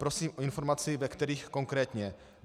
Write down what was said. Prosím o informaci, ve kterých konkrétně.